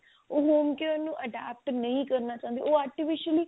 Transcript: ਉਹ homecare ਨੂੰ adopt ਨਹੀ ਕਰਨਾ ਚਾਹੁੰਦੇ ਉਹ artificially